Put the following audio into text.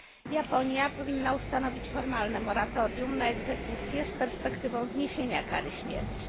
Japonia powinna ustanowić formalne moratorium na egzekucje z perspektywą zniesienia kary śmierci.